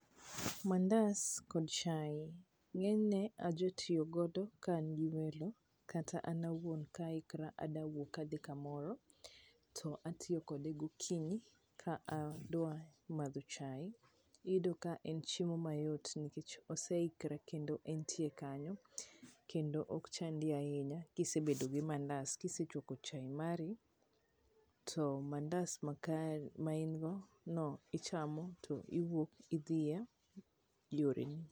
Mandas kod chai ng'enyne aja tiyo godo ka an gi welo kata an awuon ka aikra adawuok adhi kamoro, to atiyo kode gokinyi ka adwa madho chai. Iyudo ka en chiemo mayot, nikech oseikre kendo entie kanyo, kendo ok chandi ahinya ka isebedo gi mandas. Kisechwako chai mari, to mandas ma kar ma in go ichamo to iwuok idhi e yoreni.